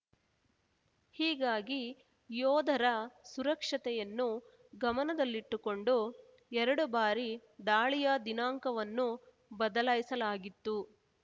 ಹೀಗಾಗಿ ಯೋಧರ ಸುರಕ್ಷತೆಯನ್ನು ಗಮನದಲ್ಲಿಟ್ಟುಕೊಂಡು ಎರಡು ಬಾರಿ ದಾಳಿಯ ದಿನಾಂಕವನ್ನು ಬದಲಾಯಿಸಲಾಗಿತ್ತು